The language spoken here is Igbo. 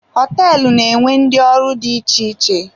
Hoteelu na-enwe ndị ọrụ dị iche iche.